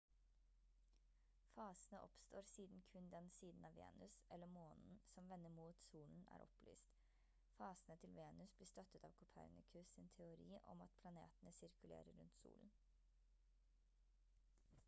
fasene oppstår siden kun den siden av venus eller månen som vender mot solen er opplyst. fasene til venus blir støttet av copernicus sin teori om at planetene sirkulerer rundt solen